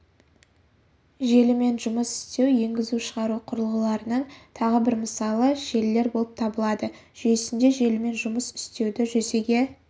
желімен жұмыс істеу енгізу-шығару құрылғыларының тағы бір мысалы желілер болып табылады жүйесінде желімен жұмыс істеуді жүзеге